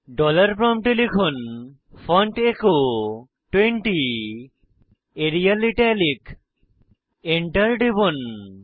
dollar প্রম্পটে লিখুন font echo 20 Arial italic Enter টিপুন